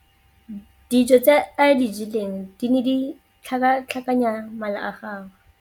Dijô tse a di jeleng di ne di tlhakatlhakanya mala a gagwe.